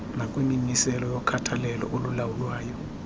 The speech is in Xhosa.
nakwimimiselo yokhathalelo olulawulwayo